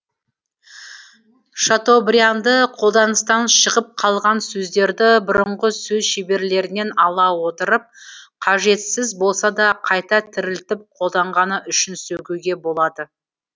шатобрианды қолданыстан шығып қалған сөздерді бұрынғы сөз шеберлерінен ала отырып қажетсіз болса да қайта тірілтіп қолданғаны үшін сөгуге болады